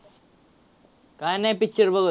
काय नाही picture बघत